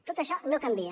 tot això no canvia